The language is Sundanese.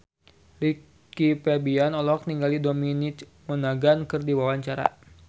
Rizky Febian olohok ningali Dominic Monaghan keur diwawancara